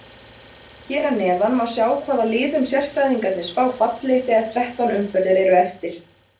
Hér að neðan má sjá hvaða liðum sérfræðingarnir spá falli þegar þrettán umferðir eru eftir.